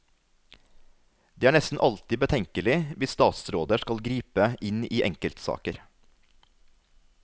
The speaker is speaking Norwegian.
Det er nesten alltid betenkelig hvis statsråder skal gripe inn i enkeltsaker.